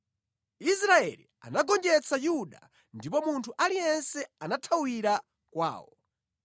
Israeli anagonjetsa Yuda ndipo munthu aliyense anathawira kwawo.